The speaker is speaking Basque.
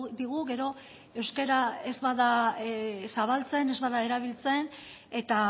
digu gero euskara ez bada zabaltzen ez bada erabiltzen eta